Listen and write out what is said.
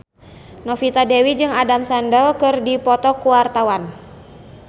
Novita Dewi jeung Adam Sandler keur dipoto ku wartawan